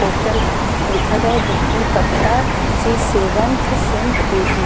Postal लिखा गया है विष्णु पट्टा सी सेवन सेण्ट ।